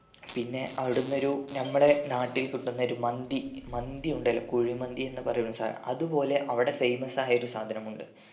പിന്നെ അവിടിന്ന് ഒരു നമ്മളെ നാട്ടിൽ കിട്ടുന്ന ഒരു മന്തി മന്തി ഉണ്ടല്ലോ കുഴിമന്തി എന്ന് പറയുന്ന സാനം അതുപോലെ അവിടെ famous ആയൊരു സാധനമുണ്ട്